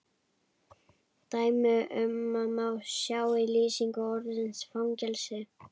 Dæmi um þetta má sjá í lýsingu orðsins fangelsi